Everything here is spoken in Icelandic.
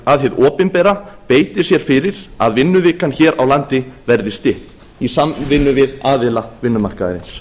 að hið opinbera beiti sér fyrir að vinnuvikan hér á landi verði stytt í samvinnu við aðila vinnumarkaðarins